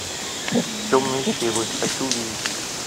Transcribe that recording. темные силы хочу увидеть